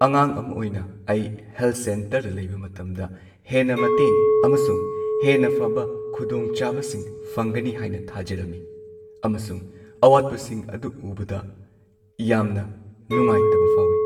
ꯑꯉꯥꯡ ꯑꯃ ꯑꯣꯏꯅ, ꯑꯩ ꯍꯦꯜꯊ ꯁꯦꯟꯇꯔꯗ ꯂꯩꯕ ꯃꯇꯝꯗ ꯍꯦꯟꯅ ꯃꯇꯦꯡ ꯑꯃꯁꯨꯡ ꯍꯦꯟꯅ ꯐꯕ ꯈꯨꯗꯣꯡꯆꯥꯕꯁꯤꯡ ꯐꯪꯒꯅꯤ ꯍꯥꯏꯅ ꯊꯥꯖꯔꯝꯃꯤ, ꯑꯃꯁꯨꯡ ꯑꯋꯥꯠꯄꯁꯤꯡ ꯑꯗꯨ ꯎꯕꯗ ꯌꯥꯝꯅ ꯅꯨꯡꯉꯥꯢꯇꯕ ꯐꯥꯎꯏ꯫